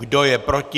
Kdo je proti?